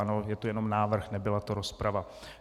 Ano, je to jenom návrh, nebyla to rozprava.